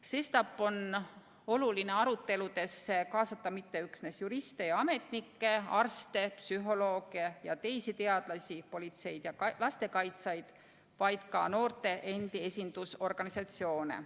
Sestap on oluline aruteludesse kaasata mitte üksnes juriste ja ametnikke, arste, psühholooge ja teisi teadlasi, politseid ja lastekaitsjaid, vaid ka noorte endi esindusorganisatsioone.